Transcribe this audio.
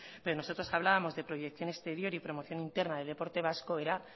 pero nosotros hablábamos de proyección exterior ypromoción interna del deporte vasco era